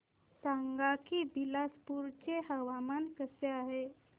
सांगा की बिलासपुर चे हवामान कसे आहे